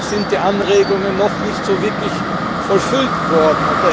Da sind die Anregungen noch nicht wirklich vollfüllt worden.